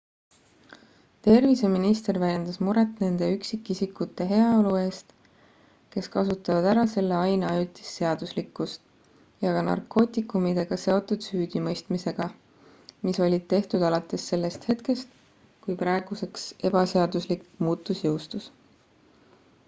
terviseminister väljendas muret nende üksikisikute heaolu eest kes kasutavad ära selle aine ajutist seaduslikkust ja ka narkootikumidega seotud süüdimõistmistega mis olid tehtud alates sellest hetkest kui praeguseks ebaseaduslik muutus jõustus